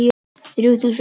Þrjú þúsund